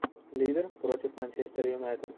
ливер против манчестер юнайтед